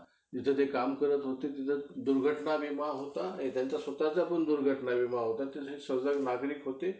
samsung चा best आहे. आता तुम्ही सांगा मला.